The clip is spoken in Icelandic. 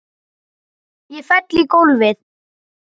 Ég fell í gólfið.